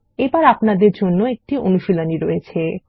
এখন আপনাদের জন্য একটি অনুশীলনী রয়েছে